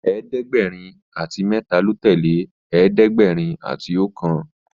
ẹ̀ẹ́dẹ̀gbẹ̀rin àti méta ló tẹlẹ ẹ̀ẹ́dẹ̀gbẹ̀rin àti okan